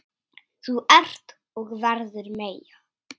Þú ert og verður Meyja.